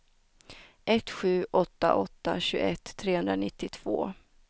ett sju åtta åtta tjugoett trehundranittiotvå